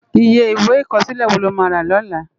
Iyé Iwé ikòsilé wó ló má rá lòlá?